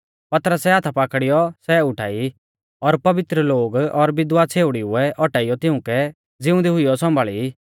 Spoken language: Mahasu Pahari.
पतरसै हाथा पाकड़ीऔ सै उठाई और पवित्र लोग और विधवा छ़ेउड़ीऊ औटाइयौ तिउंकै ज़िउंदी हुइयौ सौंभाल़ी